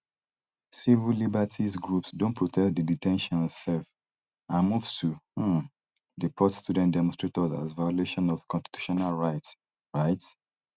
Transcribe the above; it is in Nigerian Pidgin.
civil liberties groups don protest di de ten tions um and moves to um deport student demonstrators as violation of constitutional rights rights